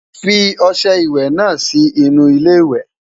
fí ọsẹ ìwé nà Si inú ilé ìwé